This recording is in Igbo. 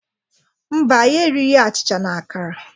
Mba, anyị erighi achịcha na akara.